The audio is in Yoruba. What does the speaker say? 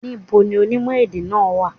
Ní bo ni onímò èdè náà wà?